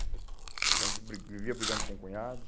Então a gente bri, vivia brigando com cunhados.